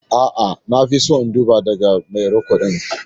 A'a, na fi so in duba daga mai rikodin.